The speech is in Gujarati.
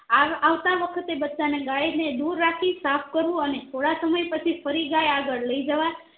આ આવતા વખતે બચ્ચા ને ગાય ને દુર રાખી સાફ કરવું અને થોડા સમય પછી ફરી ગાય આગળ લઈજવાય